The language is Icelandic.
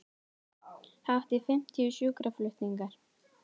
Hátt í fimmtíu sjúkraflutningar